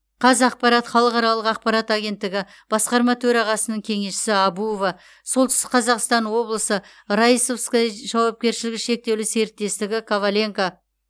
қазақпарат халықаралық ақпарат агенттігі басқарма төрағасының кеңесшісі әбуова солтүстік қазақстан облысы раисовское жауапкершілігі шектеулі серіктестігі коваленко